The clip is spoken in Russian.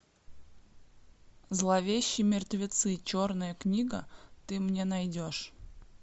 зловещие мертвецы черная книга ты мне найдешь